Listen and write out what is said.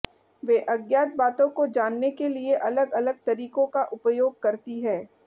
वे अज्ञात बातों को जानने के लिए अलग अलग तरीकों का उपयोग करती है